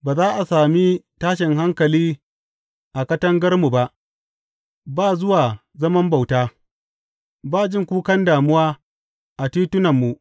Ba za a sami tashin hankali a katangarmu ba, ba zuwan zaman bauta, ba jin kukan damuwa a titunanmu.